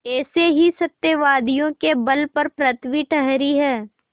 ऐसे ही सत्यवादियों के बल पर पृथ्वी ठहरी है